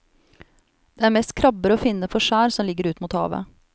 Det er mest krabber å finne på skjær som ligger ut mot havet.